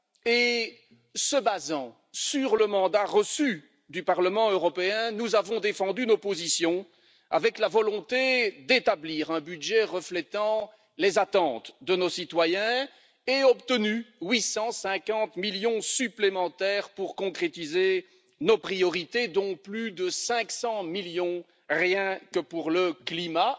En nous fondant sur le mandat reçu du Parlement européen, nous avons défendu nos positions avec la volonté d'établir un budget reflétant les attentes de nos citoyens et nous avons obtenu 850 millions supplémentaires pour concrétiser nos priorités, dont plus de 500 millions rien que pour le climat.